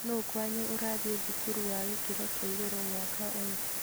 Nũũ kwanyu ũrathiĩ thukuru wa gĩkĩro kĩa igũrũ mwaka ũyũ?